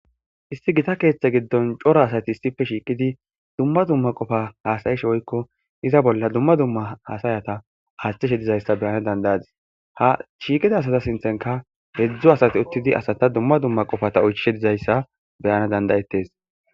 Isti gita keeththe giddon coro asati issife shiiqidi dumma dumma qofa hasayish oykko iza bolla dumma dumma hasayata aasthishe dizayssa beyana dandayadis ha shiiqida asata sinthenka hedzdzo asati uttidi asata dumma dumma qofata oychishe dizayssa beyana dandayettes.